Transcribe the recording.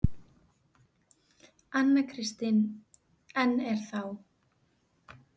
Anna Kristín: En er þá.